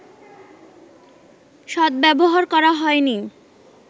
সদ্ব্যবহার করা হয়নি